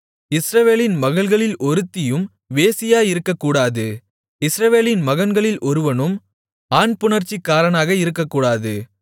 இஸ்ரவேலின் மகள்களில் ஒருத்தியும் வேசியாயிருக்கக்கூடாது இஸ்ரவேலின் மகன்களில் ஒருவனும் ஆண்புணர்ச்சிக்காரனாக இருக்கக்கூடாது